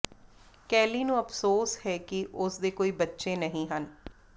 Kelly ਨੂੰ ਅਫਸੋਸ ਹੈ ਕਿ ਉਸ ਦੇ ਕੋਈ ਬੱਚੇ ਨਹੀਂ ਹਨ